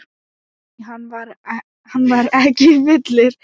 Nei, hann var ekki fullur.